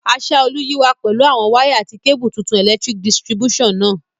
Asaolu yi wa pẹ̀lu àwon wire àti cable tuntun electric distribution náà